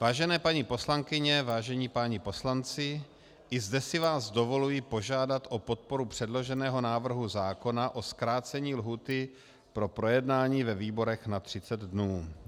Vážené paní poslankyně, vážení páni poslanci, i zde si vás dovoluji požádat o podporu předloženého návrhu zákona o zkrácení lhůty pro projednání ve výborech na 30 dnů.